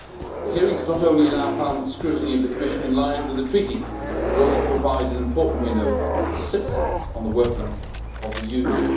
The hearings not only allow for Parliament's scrutiny of the Commission, in line with the Treaty, but also provide an important window for citizens on the workings of the Union.